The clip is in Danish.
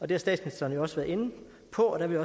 det har statsministeren også været inde på og der vil